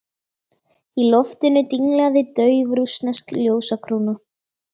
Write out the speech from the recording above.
Í loftinu dinglaði dauf rússnesk ljósakróna.